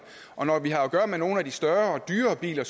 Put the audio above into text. og når vi har at gøre med nogle af de større og dyrere biler